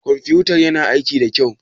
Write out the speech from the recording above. Ƙwamfutan ƴana aiƙi ɗa kƴau?